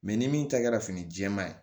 ni min ta kɛra fini jɛman ye